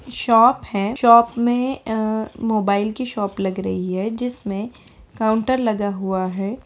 Shop है shop में अ मोबाइल की शॉप लग रही है जिसमें काउंटर लगा हुआ है।